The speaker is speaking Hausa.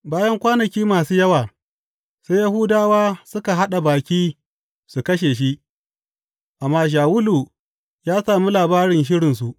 Bayan kwanaki masu yawa, sai Yahudawa suka haɗa baki su kashe shi, amma Shawulu ya sami labarin shirinsu.